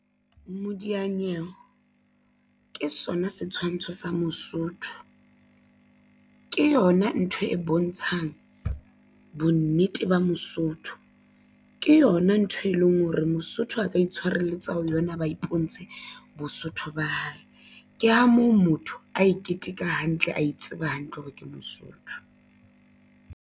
Modianyewe ke sona setshwantsho sa Mosotho ke yona ntho e bontshang bonnete ba Mosotho ke yona ntho e leng hore Mosotho a ka itshwareletsa ho yona. Ba iponetse Bosotho ba hae ke ha moo motho a e keteka hantle ae tseba hantle hore ke Mosotho.